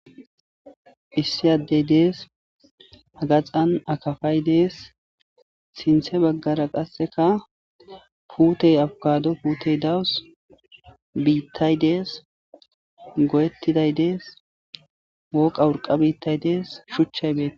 issi addey dees agaxan akafay dees sinthe baggara qasseka puutey afkado puutey dawus biittay dees go7ettiday dees woqa wurqa biittay dees shuchchay beea